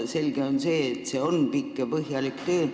Selge on see, et see on pikk ja põhjalik töö.